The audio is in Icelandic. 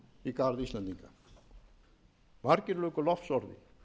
í garð íslendinga margir luku lofsorði